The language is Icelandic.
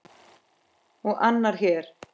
Og annar hér!